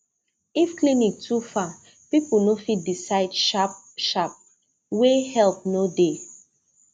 if clinic too far people no fit decide sharp shtarp where help no dey